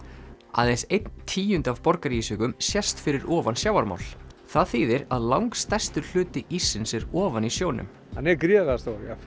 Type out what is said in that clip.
aðeins einn tíundi af sést fyrir ofan sjávarmál það þýðir að langstærstur hluti íssins er ofan í sjónum hann er gríðarlega stór